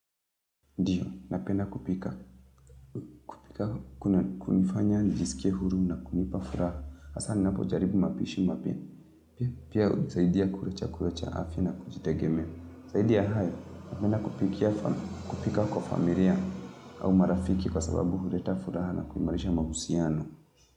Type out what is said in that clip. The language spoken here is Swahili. Ndiyo, napedna kupika. Kunifanya, nijisikie huru na kunipa furaha. Hasa, ninapojaribu mapishi mapya. Pia, pia, hunisaidia kula chakula cha afya na kujitegemea. Saidi ya hayo, nenda kupikia fam kupika kwa familia au marafiki kwa sababu hureta furaha na kuimarisha mahusiano.